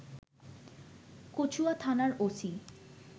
কচুয়া থানার ওসি